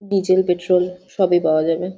Diesel petrol সবই পাওয়া যাবে।